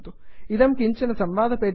इदं किञ्चन संवादपेटीकाम् उद्घाटयति